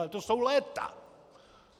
Ale to jsou léta!